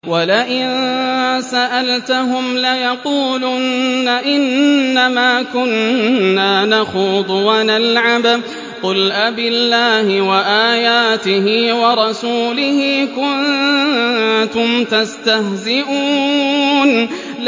وَلَئِن سَأَلْتَهُمْ لَيَقُولُنَّ إِنَّمَا كُنَّا نَخُوضُ وَنَلْعَبُ ۚ قُلْ أَبِاللَّهِ وَآيَاتِهِ وَرَسُولِهِ كُنتُمْ تَسْتَهْزِئُونَ